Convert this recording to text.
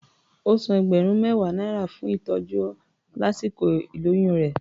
Ó san ẹgbẹ̀rún mẹ́wàá náírà fún ìtọ́jú lásìkò ìlóyún rẹ̀.